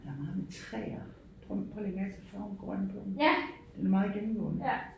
Der er meget med træer prøv prøv at lægge mærke til farven grøn på dem. Den er meget gennemgående